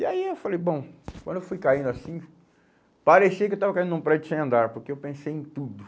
E aí eu falei, bom, quando eu fui caindo assim, parecia que eu estava caindo num prédio sem andar, porque eu pensei em tudo.